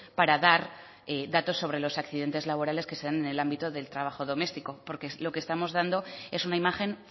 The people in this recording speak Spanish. para dar datos sobre los accidentes laborales que se dan en el ámbito del trabajo doméstico porque lo que estamos dando es una imagen